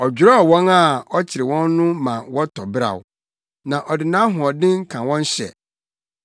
Ɔdwerɛw wɔn a ɔkyere wɔn no ma wɔtɔ beraw; na ɔde nʼahoɔden ka wɔn hyɛ.